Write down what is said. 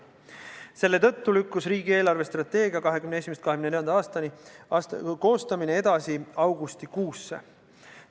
Selle tõttu lükkus riigi eelarvestrateegia 2021–2024 koostamine edasi augustikuusse.